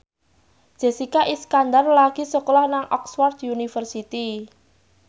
Jessica Iskandar lagi sekolah nang Oxford university